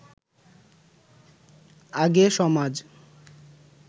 আগে সমাজ